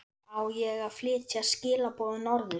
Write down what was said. Á ég að flytja skilaboð norður?